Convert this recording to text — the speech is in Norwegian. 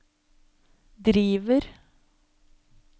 driver